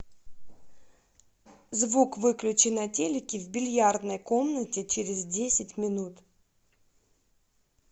звук выключи на телике в бильярдной комнате через десять минут